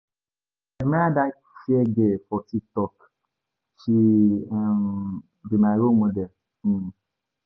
I dey admire dat fair girl for TikTok, she be my role model.